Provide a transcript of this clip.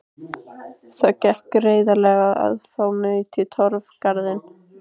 Það gekk greiðlega að fá naut í Torfgarði.